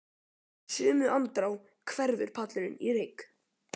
En í sömu andrá hverfur pallurinn í reyk.